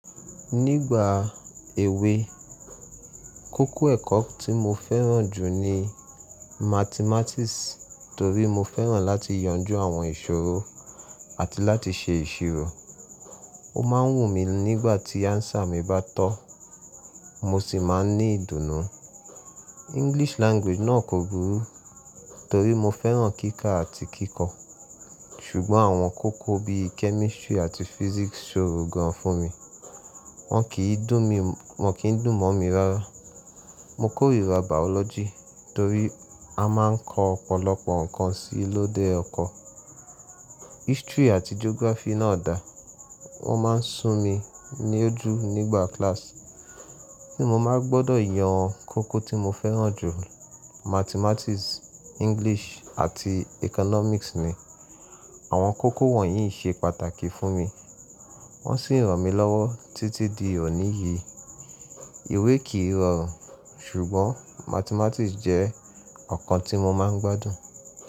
Nígbà èwe, kókó ẹ̀kọ́ tí mo fẹ́ràn jù ni Mathematics torí mo fẹ́ràn láti yanjú àwọn ìṣòro àti láti ṣe ìṣirò. Ó má ń wù mí nígbà tí answer mi bá tọ́, mo sì má ń ní ìdùnnú. English Language náà kò burú torí mo fẹ́ràn kíkà àti kíkọ́. Ṣùgbọ́n àwọn kókó bí i Chemistry àti Physics ṣòro gan fún mi, wọ́n kì í dùn mọ́ mi rárá. Mo kórìíra Biology torí a máa ń kọ́ ọ̀pọ̀lọpọ̀ ǹkan sí lóde ọkọ. History àti Geography náà dà, wọ́n má ń sún mi ní ojú nígbà class. Kíni mo máa gbọ́dọ̀ yan kókó tí mo fẹ́ràn jù? Mathematics, English àti Economics ni. Àwọn kókó wọ̀nyí ṣe pàtàkì fún mi, wọ́n sì ràn mí lọ́wọ́ títí di òní yìí. Ìwé kì í rorùn sùgbón màthemátiiki je òkan tí mo máa gbádùn.